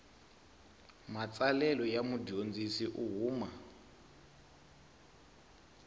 matsalelo ya mudyondzi u huma